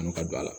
ka don a la